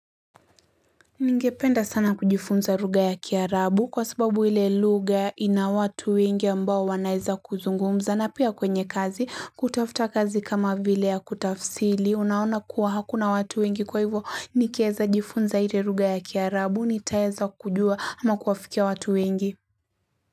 Ningependa sana kujifunza lugha ya kiarabu kwa sababu ile lugha ina watu wengi ambao wanaeza kuzungumza na pia kwenye kazi kutafuta kazi kama vile ya kutafsiri unaona kuwa hakuna watu wengi kwa hivyo nikiweza jifunza ile lugha ya kiarabu nitaweza kujua ama kuafikia watu wengi.